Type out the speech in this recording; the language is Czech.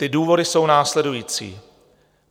Ty důvody jsou následující.